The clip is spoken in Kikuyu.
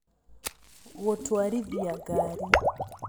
Gũtũarithia ngari.